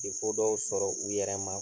dɔw sɔrɔ u yɛrɛ ma